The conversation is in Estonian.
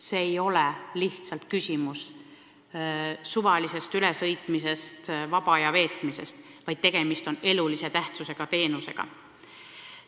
See ei ole lihtsalt küsimus suvalisest ülesõitmisest ega vaba aja veetmisest, vaid tegemist on elulise tähtsusega teenusega.